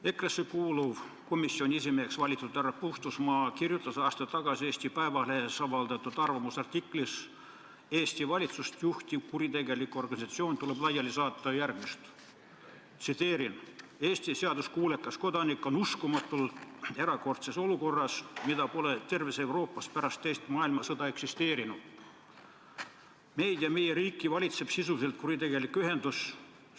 EKRE-sse kuuluv ja komisjoni esimeheks valitud härra Puustusmaa kirjutas aasta tagasi Eesti Päevalehes avaldatud arvamusartiklis "Eesti valitsust juhtiv kuritegelik organisatsioon tuleb laiali saata" järgmist: "Eesti seaduskuulekas kodanik on uskumatult erakordses olukorras, mida pole terves Euroopas pärast Teist maailmasõda eksisteerinud: meid ja meie riiki valitseb sisuliselt kuritegelik ühendus!